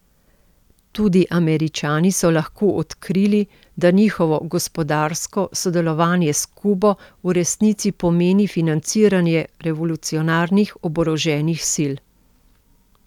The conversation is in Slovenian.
Tudi Američani so lahko odkrili, da njihovo gospodarsko sodelovanje s Kubo v resnici pomeni financiranje revolucionarnih oboroženih sil.